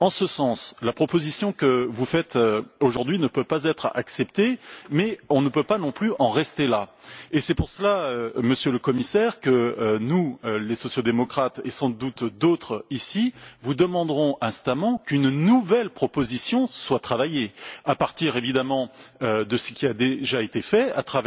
En ce sens, la proposition que vous faites aujourd'hui ne peut pas être acceptée, mais on ne peut pas non plus en rester là, et c'est pour cette raison, Monsieur le Commissaire, que nous, les sociaux démocrates et sans doute d'autres ici vous demanderons instamment qu'une nouvelle proposition soit préparée à partir, évidemment, de ce qui a déjà été fait,